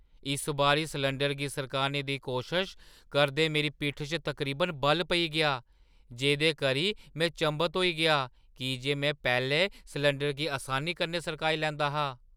इस बारी सलैंडरै गी सरकाने दी कोशश करदे मेरी पिट्ठी च तकरीबन बल पेई गेआ, जेह्दे करी में चंभत होई गेआ की जे में पैह्‌लें सलैंडरै गी असानी कन्नै सरकाई लैंदा हा।